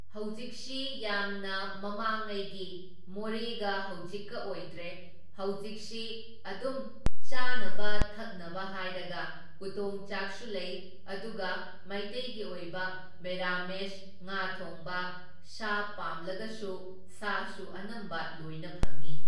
ꯍꯧꯖꯤꯛꯁꯤ ꯌꯥꯝꯅ ꯃꯃꯥꯡꯉꯩꯒꯤ ꯃꯣꯔꯦꯒ ꯍꯧꯖꯤꯛꯀ ꯑꯣꯏꯗ꯭ꯔꯦ, ꯍꯧꯖꯤꯛꯁꯤ ꯑꯗꯨꯝ ꯆꯥꯅꯕ ꯊꯛꯅꯕ ꯍꯥꯏꯔꯒ ꯎꯇꯣꯡ ꯆꯥꯛꯁꯨ ꯂꯩ, ꯑꯗꯨꯒ ꯃꯩꯇꯩꯒꯤ ꯑꯣꯏꯕ ꯃꯦꯔꯥꯃꯦꯁ, ꯉꯥ ꯊꯣꯡꯕ, ꯁꯥ ꯄꯥꯝꯂꯒꯁꯨ ꯁꯥꯁꯨ ꯑꯅꯝꯕ ꯂꯣꯏꯅ ꯐꯪꯢ꯫